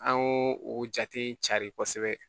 An y'o o jate cari kosɛbɛ